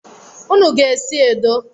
Unu ga-esi edo